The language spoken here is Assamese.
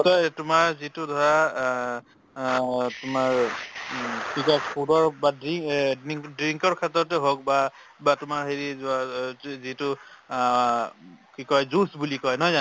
নিশ্চয় তোমাৰ যিটো ধৰা অ অ তোমাৰ উম কি কই food হওক বা দ্ৰি~ অ ~dink ~drink ৰ ক্ষেত্ৰতে হওক বা বা তোমাৰ হেৰি যোৱ~ য~ য~ যি~ যিটো অ উম কি কই juice বুলি কই নহয় জানো